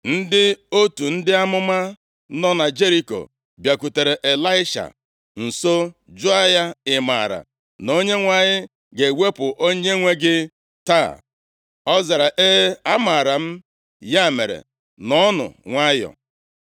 Ndị otu ndị amụma nọ na Jeriko bịakwutere Ịlaisha nso jụọ ya, “Ị maara na Onyenwe anyị ga-ewepụ onyenwe gị taa?” Ọ zara, “E, amaara m, ya mere nọọnụ nwayọọ.”